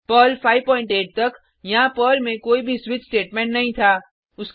Perl 58 तक यहाँ Perl में कोई भी स्विच स्टेटमेंट नहीं था